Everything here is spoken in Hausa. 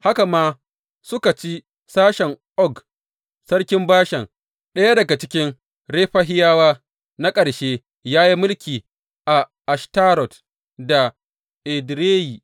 Haka ma suka ci sashen Og sarkin Bashan, ɗaya daga cikin Refahiyawa na ƙarshe da ya yi mulki a Ashtarot da Edireyi.